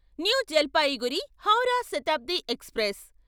new Jalpaiguri Howrah Shatabdi express